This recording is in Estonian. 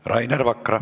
Rainer Vakra.